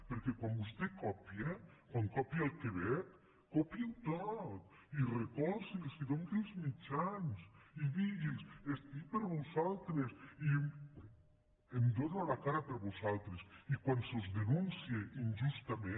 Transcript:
perquè quan vostè copia quan copia el quebec copiï·ho tot i recolzi’ls i doni’ls els mitjans i digui’ls estic per vosaltres i dono la cara per vosaltres i quan se us denuncie injustament